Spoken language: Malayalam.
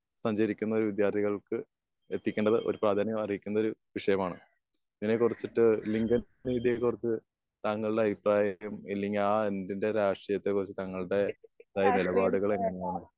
സഞ്ചരിക്കുന്ന വിദ്യാർത്ഥികൾക്ക് എത്തിക്കേണ്ടത് ഒരു പ്രാധാന്യം അർഹിക്കുന്ന ഒരു വിഷയമാണ്. ഇതിനെ കുറിച്ചിട്ട് ഓർത്ത് താങ്കളുടെ അഭിപ്രായം ഇല്ലെങ്കിൽ ആഹ് അത്ഭുത രാഷ്ട്രീയത്തെ കുറിച്ച് തങ്ങളുടെ ഉണ്ടായ നിലപാടുകളെങ്ങനെയാണ്?